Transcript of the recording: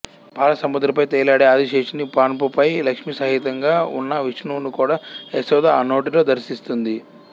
పాల సముద్రంపై తేలియాడే ఆదిశేషుని పానుపుపై లక్ష్మీ సహితంగా ఉన్న విష్ణువును కూడా యశోద ఆ నోటిలో దర్శిస్తుంది